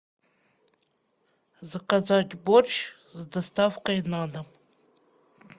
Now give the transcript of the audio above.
заказать борщ с доставкой на дом